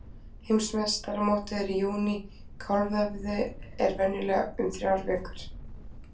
Heimsmeistaramótið er í júní, kálfavöðvi er venjulega um þrjár vikur.